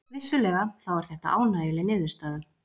Vissulega þá er þetta ánægjuleg niðurstaða